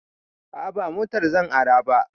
A'a ba motar zan ara ba